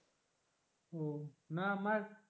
ও না আমার,